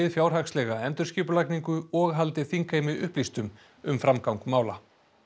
fjárhagslega endurskipulagningu og haldi þingheimi upplýstum um framgang mála